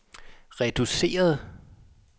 reduceret